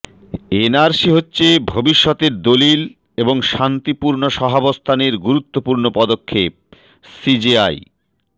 NRC হচ্ছে ভবিষ্যতের দলিল এবং শান্তিপূর্ণ সহাবস্থানের গুরুত্বপূর্ণ পদক্ষেপঃ সিজেআই